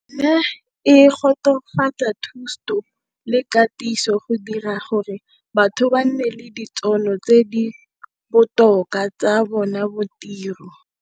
Ne e tokafatsa thuto le katiso go dira gore batho ba nne le ditšhono tse di botoka tsa bona bo tiro.